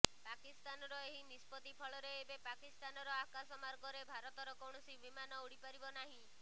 ପାକିସ୍ତାନର ଏହି ନିଷ୍ପତ୍ତି ଫଳରେ ଏବେ ପାକିସ୍ତାନ ଆକାଶମାର୍ଗରେ ଭାରତର କୌଣସି ବିମାନ ଉଡ଼ିପାରିବ ନାହିଁ